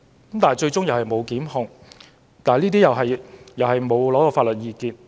他們最終沒有被檢控，律政司亦沒有尋求外間法律意見。